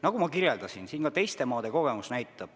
Nagu ma ütlesin, teistes maades on sellega kogemusi.